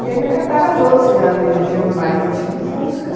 E ainda catava as outras que já não dirigiam mais e eu tinha um Fusca.